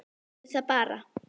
Segðu það bara!